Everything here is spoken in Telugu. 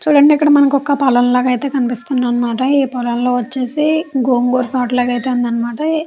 చూడండి మనకే ఇక్కడ ఒక పొలం లాగ అయితే కనిపిస్తుంది అనమాట ఈ పొలంలో వచ్చేసి గోంగూర తోట లాగా అయితే ఉందన్నమాట.